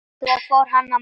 Svo fór hann að mála.